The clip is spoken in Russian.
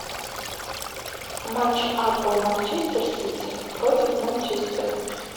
матч апл манчестер сити против манчестера